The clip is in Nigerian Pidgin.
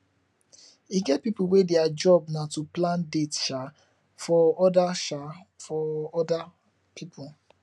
e get pipu wey their job na to plan date um for other um for other pipu